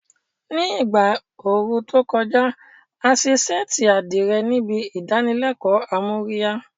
Ní ìgbà ooru tó kọjá, a ṣe ṣẹ́ẹ̀tì àdìrẹ níbi ìdánilẹ́kọ̀ọ́ amóríyá